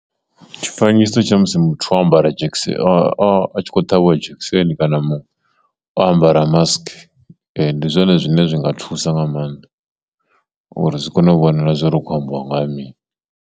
Tshifanyiso tsha musi muthu o ambara dzhekiseni a a a tshi kho ṱhavhiwa dzhekiseni kana o ambara mask ndi zwone zwine zwi nga thusa nga maanḓa uri zwi kone u vhonala zwo ri kho ambiwa nga ha mini.